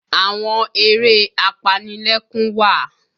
Àwọn eré apanilẹ́kún wà